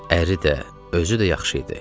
Əri də, özü də yaxşı idi.